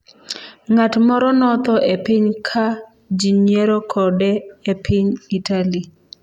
Ng’at moro notho e pi ka ji nyiero kode e piny Italy